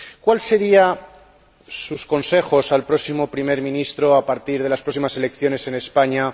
¿Cuáles serían sus consejos al próximo primer ministro a partir de las próximas elecciones en España?